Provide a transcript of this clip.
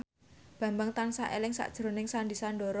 Bambang tansah eling sakjroning Sandy Sandoro